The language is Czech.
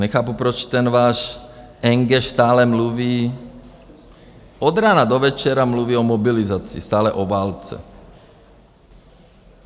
Nechápu, proč ten váš engéš stále mluví, od rána do večera mluví o mobilizaci, stále o válce.